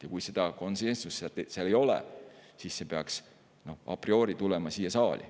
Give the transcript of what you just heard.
Aga kui komisjonis konsensust ei ole, siis peaks otsustamine a priori tulema siia saali.